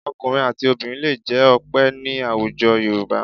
Ọkùnrin àti obìnrin lè jẹ́ Ọpẹ́ ní àwùjọ Yorùbá